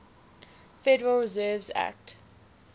federal reserve act